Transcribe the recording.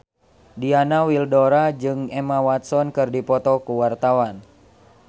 Diana Widoera jeung Emma Watson keur dipoto ku wartawan